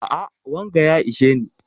A'a wanga ya isheni